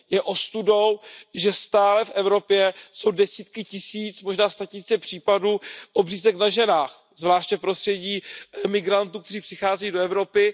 Je ostudou, že stále jsou v Evropě desítky tisíc, možná statisíce případů obřízek na ženách, zvláště v prostředí migrantů, kteří přicházejí do Evropy.